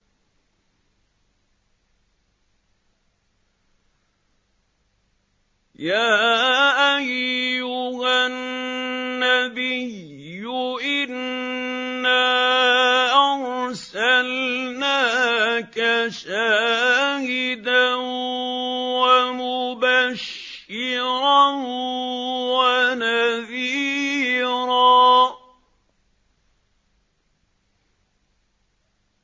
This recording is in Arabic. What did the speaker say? يَا أَيُّهَا النَّبِيُّ إِنَّا أَرْسَلْنَاكَ شَاهِدًا وَمُبَشِّرًا وَنَذِيرًا